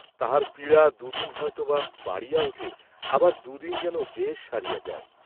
তাঁহার পীড়া দু দিন হয়তো বা বাড়িয়া উঠে আবার দু’দিন যেন বেশ সারিয়া যায়।